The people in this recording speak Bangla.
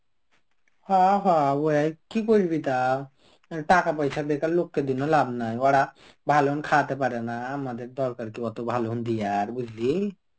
হ হ ওয়াও কি করবি তা. টাকা পয়সা বেকার লোককে দিলে লাভ নাই. ওরা ভালন খাওয়াতে পারে না আমাদের দরকার কি অত ভালো দিয়ার বুঝলি.